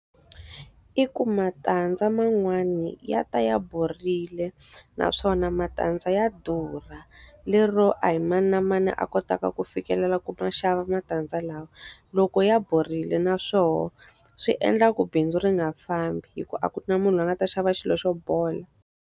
I ku matandza man'wani ya ta ya borile, naswona matandza ya durha. Lero a hi mani na mani a kotaka ku fikelela ku ma xava matandza lawa. Loko ya borile na swoho, swi endla ku bindzu ri nga fambi hikuva a ku na munhu a nga ta xava xilo xo bola.